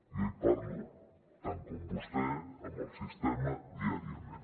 jo hi parlo tant com vostè amb el sistema diàriament